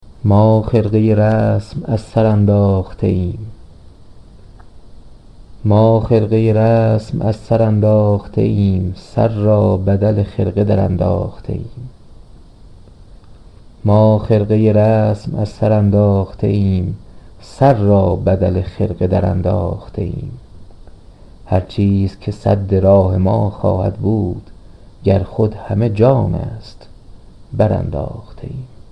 ما خرقه رسم از سر انداخته ایم سر را بدل خرقه درانداخته ایم هر چیز که سد راه ما خواهد بود گر خود همه جان است برانداخته ایم